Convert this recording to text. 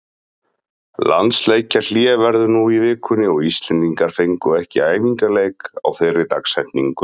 Landsleikjahlé verður nú í vikunni og Íslendingar fengu ekki æfingaleik á þeirri dagsetningu.